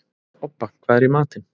Obba, hvað er í matinn?